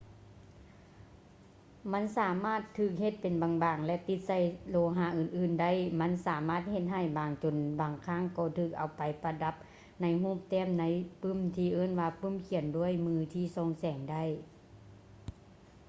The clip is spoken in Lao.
ມັນສາມາດຖືກເຮັດເປັນບາງໆ ແລະ ຕິດໃສ່ໂລຫະອື່ນໆໄດ້ ມັນສາມາດເຮັດໃຫ້ບາງຈົນບາງຄັ້ງກໍຖືກເອົາໄປປະດັບໃນຮູບແຕ້ມໃນປຶ້ມທີ່ເອີ້ນວ່າ ປຶ້ມຂຽນດ້ວຍມືທີ່ສ່ອງແສງໄດ້